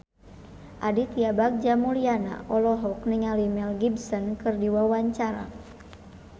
Aditya Bagja Mulyana olohok ningali Mel Gibson keur diwawancara